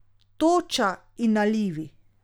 Toča in nalivi.